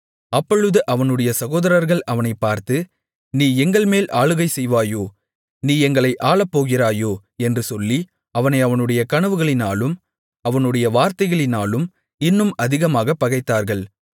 அப்பொழுது அவனுடைய சகோதரர்கள் அவனைப் பார்த்து நீ எங்கள்மேல் ஆளுகை செய்வாயோ நீ எங்களை ஆளப்போகிறாயோ என்று சொல்லி அவனை அவனுடைய கனவுகளினாலும் அவனுடைய வார்த்தைகளினாலும் இன்னும் அதிகமாகப் பகைத்தார்கள்